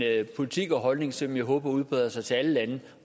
politik og holdning som jeg håber udbreder sig til alle lande